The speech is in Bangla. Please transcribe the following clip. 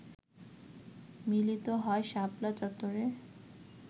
মিলিত হয় শাপলা চত্বরে